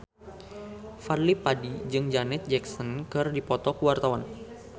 Fadly Padi jeung Janet Jackson keur dipoto ku wartawan